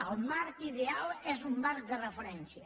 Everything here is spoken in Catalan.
el marc ideal és un marc de referència